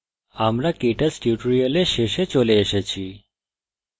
আমরা কেটচ tutorial শেষে চলে এসেছি